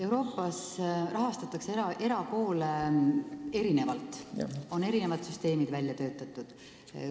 Euroopas rahastatakse erakoole erinevalt, seal on erinevad süsteemid välja töötatud.